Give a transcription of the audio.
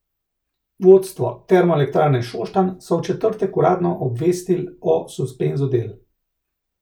Vodstvo Termoelektrarne Šoštanj so v četrtek uradno obvestil o suspenzu del.